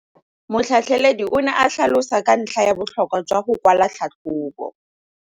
Motlhatlheledi o ne a tlhalosa ka ntlha ya botlhokwa jwa go kwala tlhatlhôbô.